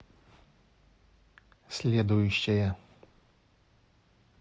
следующая